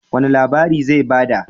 Wani labari zai ba da?